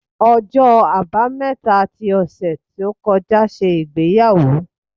Ọjọ́ Àbámẹ́ta ti ọ̀sẹ̀ tó kọjá ṣe ìgbéyàwó.